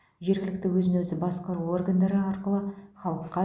жергілікті өзін өзі басқару органдары арқылы халыққа